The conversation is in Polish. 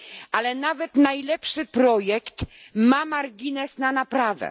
Ale nawet najlepszy projekt ma margines poprawy.